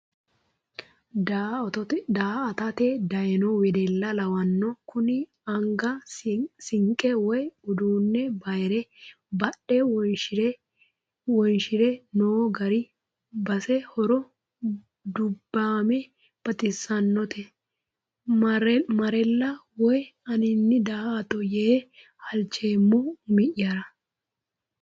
Daa"attote dayino wedella lawano kuni anga sinqe woyi uduune bayire badhe wonshire no gari base horo dubbame baxisanote marrella woyi anini da"atto yee halchoommo umi'yara.